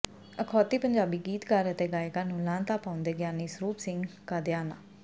ਅਖੌਤੀ ਪੰਜਾਬੀ ਗੀਤਕਾਰ ਅਤੇ ਗਾਇਕਾਂ ਨੂੰ ਲਾਹਨਤਾਂ ਪਾਉਂਦੇ ਗਿਆਨੀ ਸਰੂਪ ਸਿੰਘ ਕਾਦੀਆਨਾ